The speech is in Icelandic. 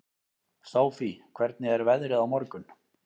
Sofie, hvernig er veðrið á morgun?